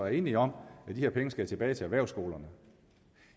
er enige om at de her penge skal tilbage til erhvervsskolerne